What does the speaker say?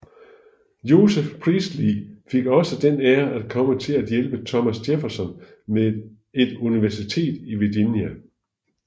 Joseph Priestley fik også den ære at komme til at hjælpe Thomas Jefferson med et universitet i Virginia